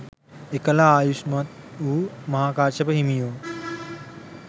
එකල ආයුෂ්මත් වූ මහාකාශ්‍යප හිමියෝ